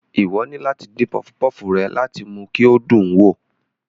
Ìwọ ni láti dín pufupufu rẹ láti mú kí o dùn wo